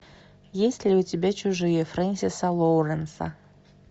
есть ли у тебя чужие френсиса лоуренса